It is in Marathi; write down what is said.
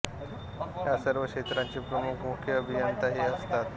या सर्व क्षेत्रांचे प्रमुख मुख्य अभियंता हे असतात